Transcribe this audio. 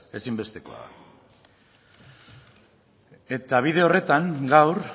ezinbestekoa da eta bide horretan gaur